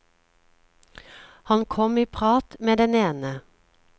Han kom i prat med den ene.